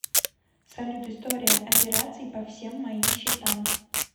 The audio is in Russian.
салют история операций по всем моим счетам